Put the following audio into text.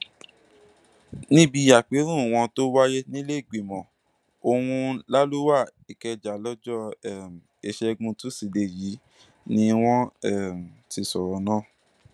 níbi àpérò wọn tó wáyé nílẹẹgbìmọ ohun làlùwá ìkẹjà lọjọ um ìṣẹgun túṣídéé yìí ni wọn um ti sọrọ náà